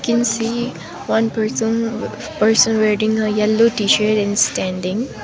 we can see one person person wearing a yellow t-shirt and standing.